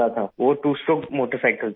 وہ 2 stroke motorcycle تھی